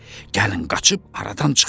Gəlin qaçıb aradan çıxaq.